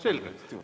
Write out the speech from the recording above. Selge.